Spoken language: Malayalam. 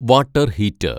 water‍ heater‍